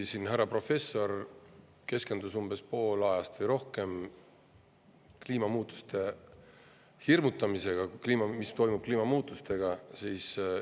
Siin härra professor keskendus umbes poole ajast või rohkem kliimamuutustega hirmutamisele, et mis toimub kliimamuutuste tõttu.